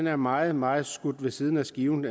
er meget meget skudt ved siden af skiven